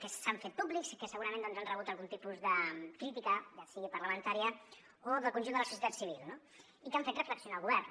que s’han fet públics i que segurament doncs han rebut algun tipus de crítica ja sigui parlamentària o del conjunt de la societat civil no i que han fet reflexionar el govern